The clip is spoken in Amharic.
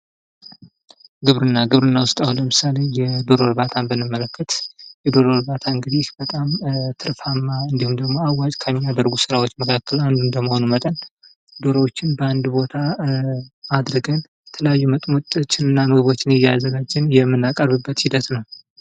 ግብርና ግብርና ውስጥ አሁን ለምሳሌ የዶሮ እርባታ ብንመለከት የዶሮ እርባታ እንግዲህ በጣም ትርፋማ አዋጭ ከሚያደርጉ ስራዎች መካከል ዶሮዎችን በአንድ ቦታ አድርገን ጥሪዎችና ምግቦችን እያዘጋጀን የመናቀርብበት ሂደት ነው።